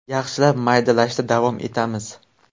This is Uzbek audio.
Yaxshilab maydalashda davom etamiz.